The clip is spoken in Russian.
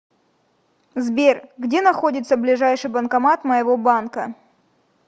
сбер где находится ближайший банкомат моего банка